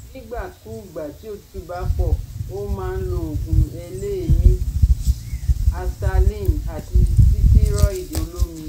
Nígbà kúùgbà tí òtútù bá pọ̀, ó máa lo òògùn eléèémí asthaline àti sítẹ́rọ́ìdì olómi